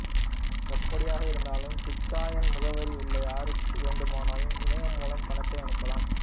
எப்படியாக இருந்தாலும் பிட்காயின் முகவரி உள்ள யாருக்கு வேண்டுமானாலும் இணையம் மூலம் பணத்தை அனுப்பலாம்